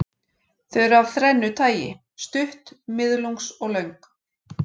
Þau eru af þrennu tagi, stutt, miðlungs og löng.